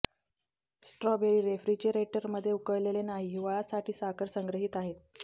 strawberry refrigerator मध्ये उकडलेले नाही हिवाळा साठी साखर संग्रहित आहेत